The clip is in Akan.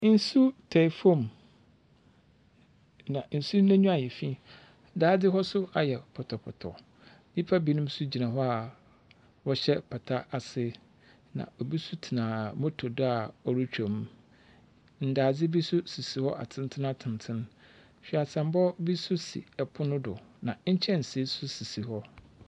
Nsu tae fam, na nsuw n’enyiwa ayɛ fi. Daadze hɔ nso ayɛ pɔtɔpɔtɔ. Nnipa binom nso gyina hɔ a, wɔhyɛ pata ase, na obi nso tena moto do a ɔretwom. Ndze bi nso sisi hɔ atentenatenten. Hweaseammɔ bi nso si ɛpono do na nkyɛnsee nso sisi hɔ.